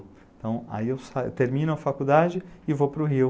Então, aí eu termino a faculdade e vou para o Rio.